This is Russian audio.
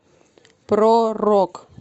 про рок